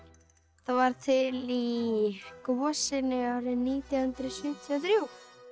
það varð til í gosinu árið nítján hundruð sjötíu og þrjú